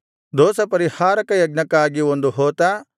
ದೋಷಪರಿಹಾರಕ ಯಜ್ಞಕ್ಕಾಗಿ ಒಂದು ಹೋತ